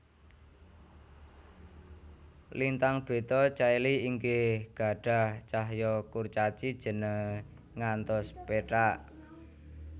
Lintang Beta Caeli inggih gadhah cahya kurcaci jene ngantos pethak